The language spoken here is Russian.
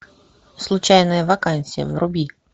случайная вакансия вруби